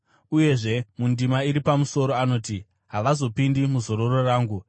Uyezve mundima iri pamusoro anoti, “Havazopindi muzororo rangu.”